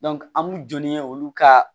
an b'u jɔ n'o ye olu ka